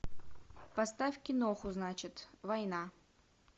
поставь киноху значит война